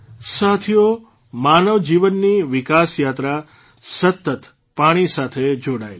સાથીઓ માનવજીવનની વિકાસયાત્રા સતત પાણી સાથે જોડાયેલી છે